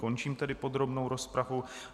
Končím tedy podrobnou rozpravu.